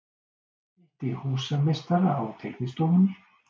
Hitti húsameistara á teiknistofunni.